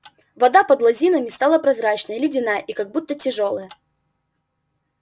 вода под лозинами стала прозрачная ледяная и как будто тяжёлая